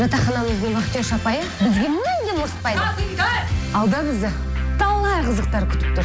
жатақханамыздың вахтерша апайы бізге мүлдем ұрыспайды алда бізді талай қызықтар күтіп тұр